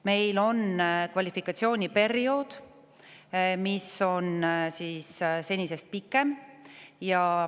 Meil on periood edaspidi senisest pikem.